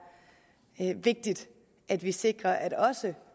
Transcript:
vigtigt at vi sikrer at også